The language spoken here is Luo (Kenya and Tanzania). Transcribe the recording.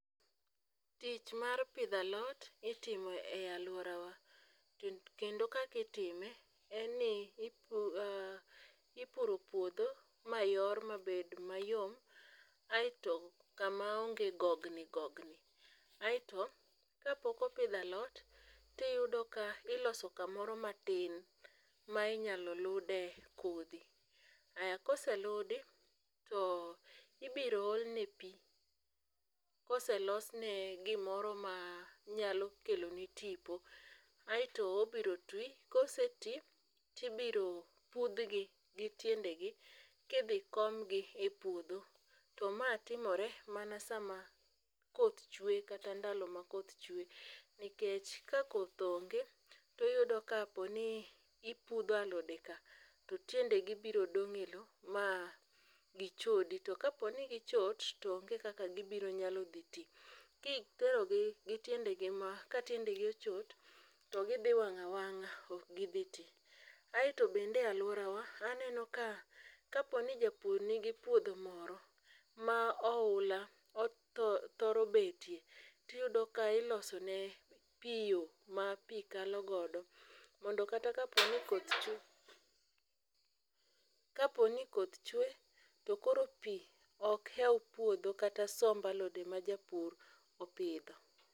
Tich mar pidho alot itimo e alworawa kendo kaak itime en ni ipuro puodho mayor mabed mayom aeto kama onge gogni gogni aeto kapok opidh alot, iyudo ka iloso kamoro matin ma inyalo lude kodhi, aya koseludi, to ibiro olne pi, koselosne gimoro ma nyalo kelone tipo aeto obiro twi. koseti tibiro pudhgi gi tiendegi kibiro komgi e puodho, to ma timore mana sama koth chwe kata ndalo ma koth chwe nikech ka koth onge toyudo kaponi ipudho alodeka to tiendegi biro dong' e lowo ma gichodi, to kaponi gichot to oge kaka gibiro nyalo dhi ti. Kiterogi ka tiendegi ochot, to gidhi wang' awang'a, ok gidhi ti. Aet bende alworawa aneno ka ,kapo ni japur nigi puodho moro ma ohula thoro betie, tiyudo ka ilosone yo ma pi kalo godo mondo kata kaponi koth cwe to koro pi ok hew puodho kata somb alode ma japur opidho.